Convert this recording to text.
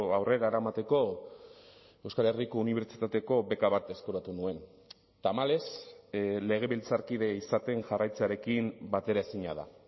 aurrera eramateko euskal herriko unibertsitateko beka bat eskuratu nuen tamalez legebiltzarkide izaten jarraitzearekin bateraezina da